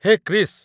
Hai, Krish!